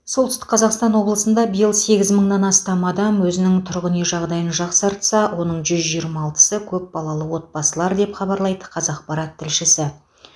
солтүстік қазақстан облысында биыл сегіз мыңнан астам адам өзінің тұрғын үй жағдайын жақсартса оның жүз жиырма алтысы көпбалалы отбасылар деп хабарлайды қазақпарат тілшісі